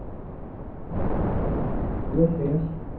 हॅलोश्रेयश